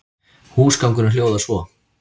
Húsgangurinn hljóðar svo